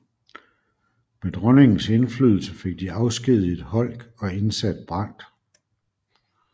Med dronningens indflydelse fik de afskediget Holck og indsat Brandt